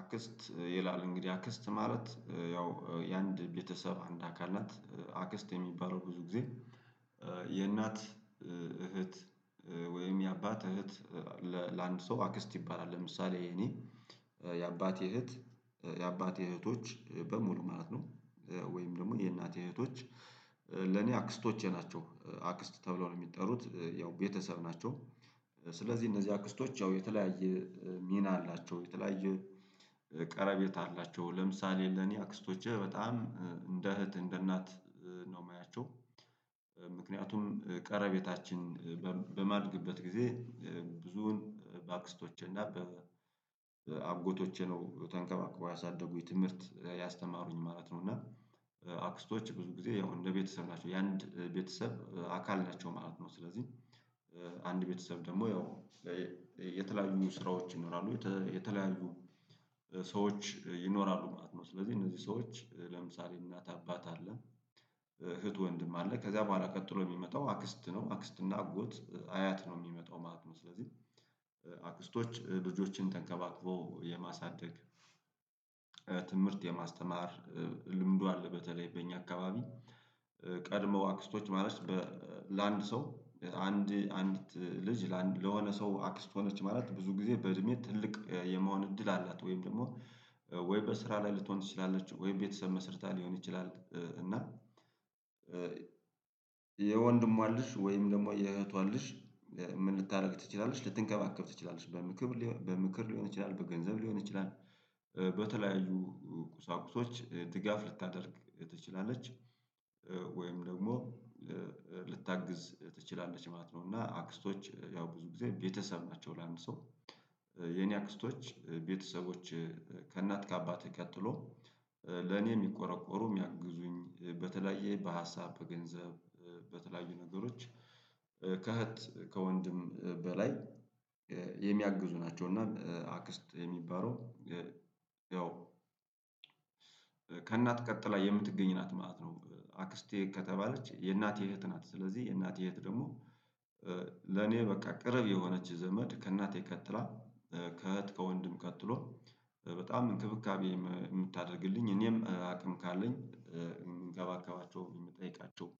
አክስት ይላል እንግዲህ አክስት ማለት ያው የአንድ ቤተሰብ አንድ አካል ናት አክስት የሚባለው ብዙ ጊዜ የእናት እህት ወይም የአባት እህት ለአንድ ሰው አክስት ይባላል። ለምሳሌ የኔ የአባት እህት የአባት እህቶች በሙሉ ማለት ነው። ወይም ደግሞ የእናቴ እህቶች ለኔ አክስቶቼ ናቸው አክስት ተብለው ነው የሚጠሩት ያው ቤተሰብ ናቸው። ስለዚህ እነዚህ አክስቶች ያው የተለያየ ሚና አላቸው። የተለያየ ቀረቤት አላቸው። ለምሳሌ ለኔ አክስቶቼ በጣም እንደ እህት እንደ እናት ነው የማያቸው—። ምክንያቱም ቀረቤታችን በማልግበት ጊዜ ብዙውን በአክስቶች እና በአጎቶቼ ነው ተንከባክበው ያሳደጉኝ ትምህርት ያስተማሩኝ ማለት ነው። እና አክስቶች ብዙ ጊዜ ያው እንደ ቤተሰብ ናቸው የአንድ ቤተሰብ አካል ናቸው ማለት ነው። ስለዚህ አንድ ቤተሰብ ደግሞ ያው— የተለያዩ ስራዎች ይኖራሉ የተለያዩ ሰዎች ይኖራሉ ማለት ነው። ስለዚህ እነዚህ ሰዎች ለምሳሌ እናት አባት አለን እህት ወንድም አለ ከዛ በኋላ ቀጥሎ የሚመጣው አክስት ነው አክስት እና አጎት አያት ነው የሚመጣው ማለት ነው። ስለዚህ— አክስቶች ልጆችን ተንከባክቦ የማሳደግ— ትምህርት የማስተማር ልምዱ አለ። በተለይ በእኛ አካባቢ ቀድመው አክስቶች ማለት በ ለአንድ ሰው አንድ አንድ ልጅ ለሆነ ሰው አክስቶኖች ማለት ብዙ ጊዜ በእድሜ ትልቅ የመሆን እድል አላት። ወይም ደግሞ ወይ በስራ ላይ ልትሆን ትችላለች። ወይ ቤተሰብ መስርታ ሊሆን ይችላል። እና— የወንድሟን ልጅ ወይም ደግሞ የእህቷን ልጅ ምን ልታደርግ ትችላለሽ ልትንከባከብ ትችላለች? በምክር በምክር ሊሆን ይችላል በገንዘብ ሊሆን ይችላል። በተለያዩ ቁሳቁሶች ድጋፍ ልታደርግ ትችላለች። ወይም ደግሞ ልታግዝ ትችላለች ማለት ነው። እና አክስቶች ያው ብዙ ጊዜ ቤተሰብ ናቸው ለአንድ ሰው። የኔ አክስቶች ቤተሰቦች ከእናት ከአባት ቀጥሎ ለእኔ የሚቆረቆሩ የሚያግዙኝ በተለያየ በሀሳብ በገንዘብ በተለያዩ ነገሮች ከእህት ከወንድም በላይ የሚያግዙ ናቸው። እና አክስት የሚባለው ያው— ከእናት ቀጥላ የምትገኝ ናት ማለት ነው—። አክስቴ ከተባለች የእናቴ እህት ናት። ስለዚህ የእናቴ እህት ደግሞ— ለኔ በቃ ቅርብ የሆነች ዘመድ ከእናቴ ከትላ ከእህት ከወንድም ቀጥሎ በጣም እንክብካቤ የምታደርግልኝ እኔም አቅም ካለኝ የምንከባከባቸው የሚጠይቃቸው—።